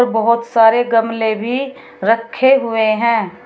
बहोत सारे गमले भी रखे हुए हैं।